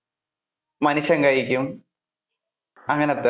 മനുഷ്യൻ കഴിക്കും അങ്ങനത്തെ.